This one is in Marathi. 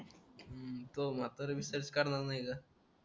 अं तो म्हातारा बी सर्च करणार नाय